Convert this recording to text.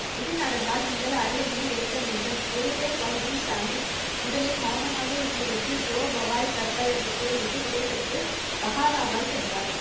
இது நடந்தால் நீங்கள் அரியணையை ஏற்க வேண்டும். குரு தேக் பகதூர் சாகிப் முதலில் மௌனமாக இருந்துவிட்டு ஜோ பவாய் கர்த்தார் என்று கூறிவிட்டு விடைபெற்று பஹாலாவால் சென்றார்.